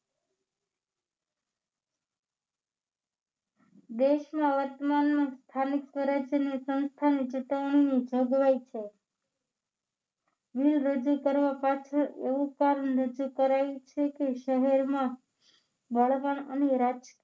દેશમાં વર્તમાનમાં સ્થાનિક સ્વરાજ્યની સંસ્થાની ચુકવણીની જોગવાઈ છે bill રજૂ કરવા પાછળ એવું કારણ રજૂ કરાયુ છે કે શહેરમાં બળવાન અને રાજ